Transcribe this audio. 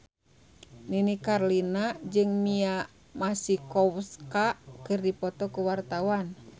Nini Carlina jeung Mia Masikowska keur dipoto ku wartawan